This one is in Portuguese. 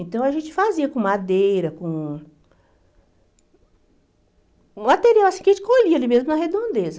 Então, a gente fazia com madeira, com... Um material assim que a gente colhia ali mesmo na redondeza.